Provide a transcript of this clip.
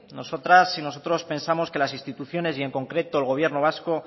nosotras y nosotros pensamos que las instituciones y en concreto el gobierno vasco